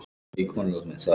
Ég þekki þau.